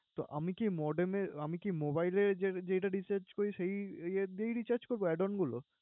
তো আমি কি modem এ আমি কি mobile এ যে~ যেটা recharge করি, সেই app দিয়েই recharge করব add on গুলো।